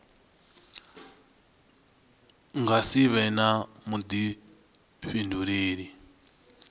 nga si vhe na vhuḓifhinduleli